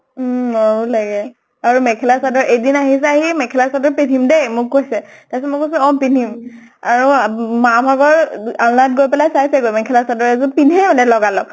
উম মৰমো লাগে। আৰু মেখেলা চাদৰ, এদিন আহিছে, আহি এই মেখেলা চাদৰ পিন্ধিম দে মোক কৈছে। তাৰ পিছত মই কৈছো অ পিন্ধিম। আৰু অম মা ভাগৰ আহ দু আল্নাত গৈ পেলাই ছাইছে গৈ, মেখেলা চাদৰ এযোৰ পিন্ধেই মানে গা লগ।